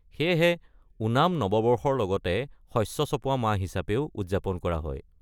সেয়েহে ওনাম নৱবৰ্ষৰ লগতে শস্য চপোৱা মাহ হিচাপেও উদযাপন কৰা হয়।